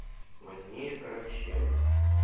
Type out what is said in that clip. возьми короче